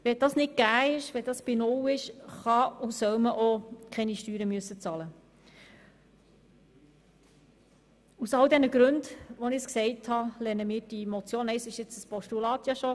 Wenn diese nicht gegeben ist bzw. wenn sie bei null ist, kann und soll man auch keine Steuern bezahlen müssen.